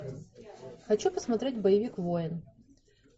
хочу посмотреть боевик воин